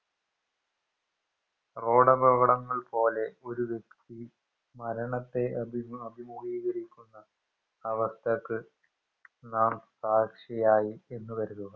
റോഡപടകടങ്ങൾ പോലെ ഒരു വ്യെക്തി മരണത്തെ അഭിമു അഭിമുഖികരിക്കുന്ന അവസ്ഥക്ക് നാം സാക്ഷിയായി എന്ന് കരുതുക